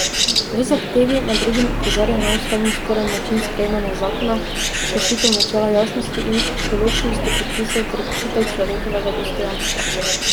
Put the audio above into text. V zahtevi med drugim opozarja na ustavno sporen način sprejemanja zakona, kršitev načela jasnosti in določnosti predpisov ter kršitev človekovega dostojanstva.